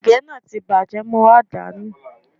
Ègé náà ti bàjẹ́, mo wá dà á nù